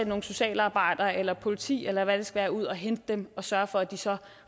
nogle socialarbejdere eller politi eller hvad det skal være ud at hente dem og sørge for at de så